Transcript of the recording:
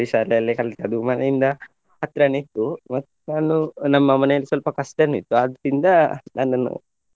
ಶಾಲೆಯಲ್ಲೇ ಕಲ್ತದ್ದು ಮನೆಯಿಂದ ಹತ್ರಾನೆ ಇತ್ತು ಮತ್ತ್ ನಾನು ನಮ್ಮ ಮನೆಯಲ್ಲಿ ಸ್ವಲ್ಪ ಕಷ್ಟನೇ ಇತ್ತು ಆದ್ರಿಂದ ನನ್ನನ್ನು.